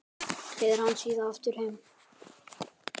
Leiðir hana síðan aftur heim.